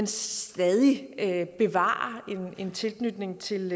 stadig bevarer en tilknytning til